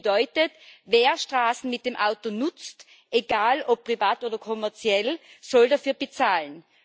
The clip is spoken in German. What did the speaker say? Das bedeutet Wer Straßen mit dem Auto nutzt egal ob privat oder kommerziell soll dafür bezahlen.